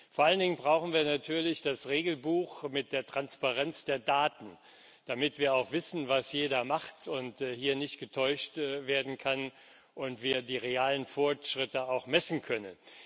Vor allen Dingen brauchen wir natürlich das Regelbuch mit der Transparenz der Daten, damit wir auch wissen, was jeder macht, und hier nicht getäuscht werden kann, und wir die realen Fortschritte auch messen können.